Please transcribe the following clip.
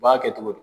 U b'a kɛ cogo di